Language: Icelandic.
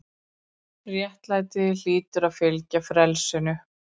RÉTTLÆTI- hlýtur að fylgja frelsinu.